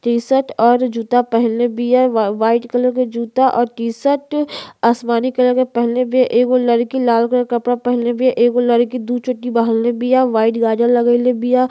T shirt जूता पहिनले बिया। व्हाइट कलर जूता और टी शर्ट आसमानी कलर के पहिनले बिया। एगो लड़की लाल कलर के कपडा पहिनले बिया। एगो लड़की दू चोटी बन्हले बिया। व्हाइट गाजर लगइले बिया।